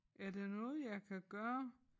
Er der noget jeg kan gøre?